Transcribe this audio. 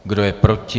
Kdo je proti?